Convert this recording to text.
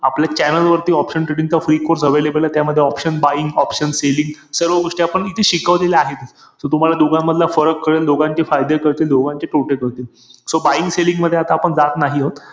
womens IPL खरंतर त्याच्यामध्ये पण खुप